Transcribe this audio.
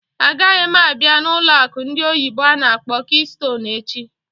Agaghị m a bịa n'ụlọ akụ ndị oyibo n'akpọ "Keystone" echi!